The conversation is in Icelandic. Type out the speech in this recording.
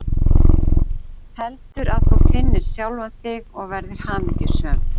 Heldur að þú finnir sjálfan þig og verðir hamingjusöm.